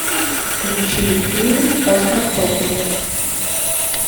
включи фильм остров проклятых